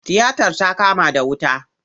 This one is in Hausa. Tiyatar ta kama da wuta.